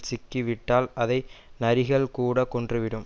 சிக்கி விட்டால் அதை நரிகள் கூட கொன்று விடும்